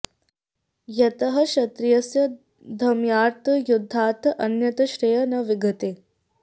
यतः क्षत्रियस्य धर्म्यात् युद्धात् अन्यत् श्रेयः न विद्यते